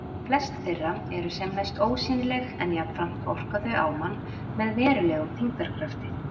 Flest þeirra eru sem næst ósýnileg en jafnframt orka þau á mann með verulegum þyngdarkrafti.